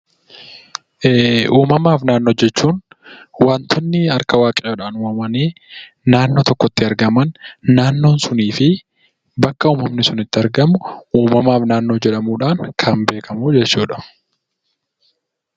Uumamaaf naannoo jechuun wantootni harka waaqayyoodhaan uumamanii naannoo tokkotti argaman, naannoon suniifi bakka uumamni sun itti argamu uumamaaf naannoo jedhamuun kan beekamuu jechuudha.